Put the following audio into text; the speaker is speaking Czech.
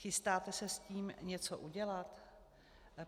Chystáte se s tím něco udělat?